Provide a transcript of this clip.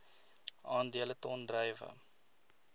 aandele ton druiwe